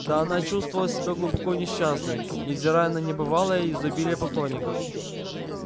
да она чувствовала себя глубоко несчастной невзирая на небывалое изобилие поклонников